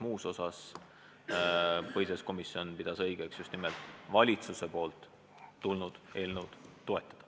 Muus osas pidas põhiseaduskomisjon õigeks just nimelt valitsusest tulnud eelnõu toetada.